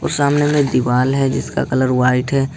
सामने में दीवाल है जिसका कलर व्हाइट है ।